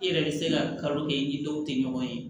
I yɛrɛ bɛ se ka kalo kɛ i ni dɔw tɛ ɲɔgɔn ye